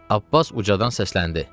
Abbas ucadan səsləndi.